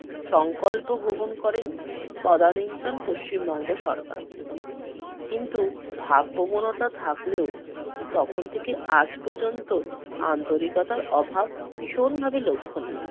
সংকল্প গ্রহণ করেন তদানীন্তন পশ্চিম বঙ্গ সরকার। কিন্তু ভাব-প্রবণতা থাকলেও তখন থেকে আজ পর্যন্ত আন্তরিকার অভাব ভীষণভাবে লক্ষণীয়।